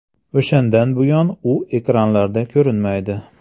O‘shandan buyon u ekranlarda ko‘rinmaydi.